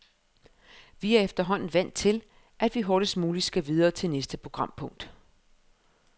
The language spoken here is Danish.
Vi er efterhånden vant til, at vi hurtigst muligt skal videre til næste programpunkt.